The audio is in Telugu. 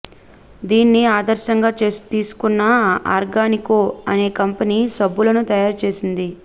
దీన్ని ఆదర్శంగా తీసుకున్న ఆర్గానికో అనే కంపెనీ సబ్బులను తయారు చేసింది